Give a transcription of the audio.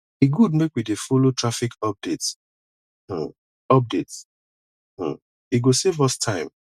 e good make we dey follow traffic updates um updates um e go save us time